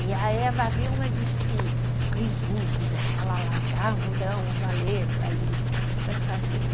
E a Eva Vilma disse que ficou em dúvida se ela largava ou não o balé para ir, para fazer.